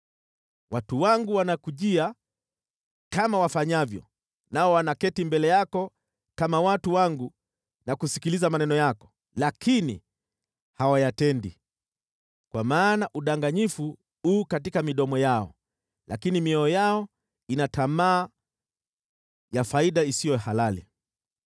Watu wangu wanakujia, kama wafanyavyo, nao wanaketi mbele yako kama watu wangu na kusikiliza maneno yako, lakini hawayatendi. Kwa maana udanganyifu u katika midomo yao, lakini mioyo yao ina tamaa ya faida isiyo halali.